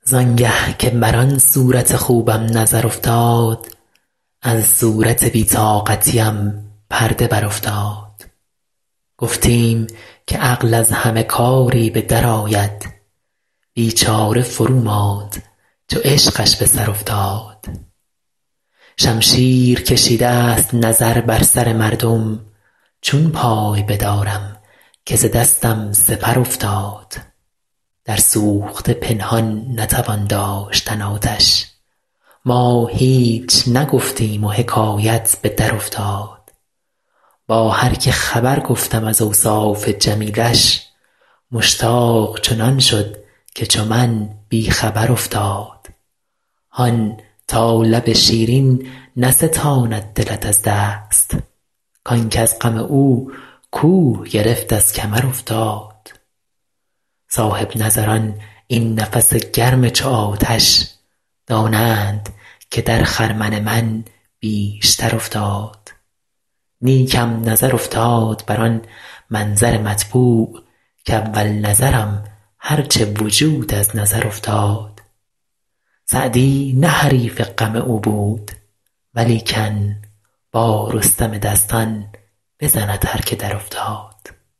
زان گه که بر آن صورت خوبم نظر افتاد از صورت بی طاقتیم پرده برافتاد گفتیم که عقل از همه کاری به درآید بیچاره فروماند چو عشقش به سر افتاد شمشیر کشیدست نظر بر سر مردم چون پای بدارم که ز دستم سپر افتاد در سوخته پنهان نتوان داشتن آتش ما هیچ نگفتیم و حکایت به درافتاد با هر که خبر گفتم از اوصاف جمیلش مشتاق چنان شد که چو من بی خبر افتاد هان تا لب شیرین نستاند دلت از دست کان کز غم او کوه گرفت از کمر افتاد صاحب نظران این نفس گرم چو آتش دانند که در خرمن من بیشتر افتاد نیکم نظر افتاد بر آن منظر مطبوع کاول نظرم هر چه وجود از نظر افتاد سعدی نه حریف غم او بود ولیکن با رستم دستان بزند هر که درافتاد